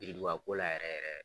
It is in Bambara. Biridugako la yɛrɛ yɛrɛ.